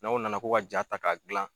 N'aw nana ko ka jaa ta ka gilan